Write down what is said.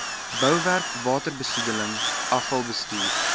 bouwerk waterbesoedeling afvalbestuur